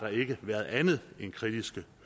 været andet end kritiske